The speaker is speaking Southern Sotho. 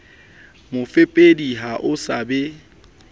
mofepedi ha ho sa be